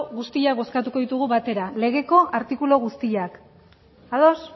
guztiak bozkatuko ditugu batera legeko artikulu guztiak ados